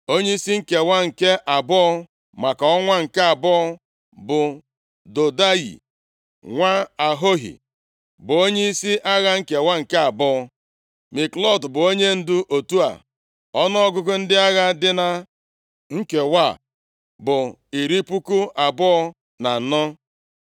Onyeisi nkewa nke abụọ, maka ọnwa nke abụọ bụ Dodayi, nwa Ahohi bụ onyeisi agha nkewa nke abụọ. Miklot bụ onyendu otu a, ọnụọgụgụ ndị agha dị na nkewa a bụ iri puku abụọ na anọ (24,000).